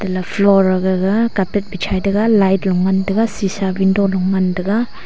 la floor a gaga carpet bichai taiga light lung ngantaga sheesha window lung ngantaga.